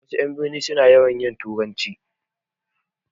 Wasu 'yan birni na yawan yin turanci